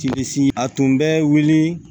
Sibisi si a tun bɛ wuli